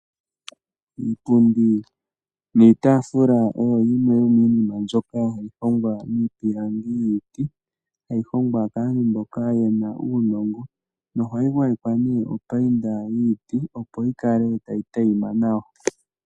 Iipundi niitafula oyo yimwe yomiinima mbyoka hayi hongwa miipilangi yiiti hayi hongwa kaantu mboka yena uunongo nohayi gwayekwa opayinda yiiti opp yikale tayi adhima nawa.